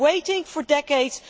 We have been waiting for decades